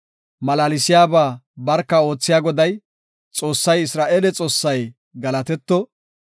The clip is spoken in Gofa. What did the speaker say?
Malaalisiyaba barka oothiya Goday, Xoossay Isra7eele Xoossay galatetto.